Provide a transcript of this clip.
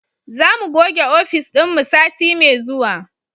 Za mu goge ofis dinmu sati mai zuwa